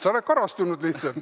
Sa oled karastunud lihtsalt.